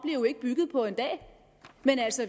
jo ikke bygget på en dag men